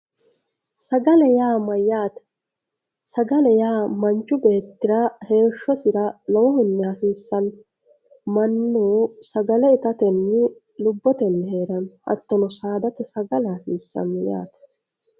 Sagale ya mayate sagale ya manchu betira heshosira lowohunni hasisano manu sagale itatenni lubbotenji hetanno hatino sadda misano yatte